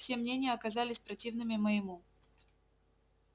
все мнения оказались противными моему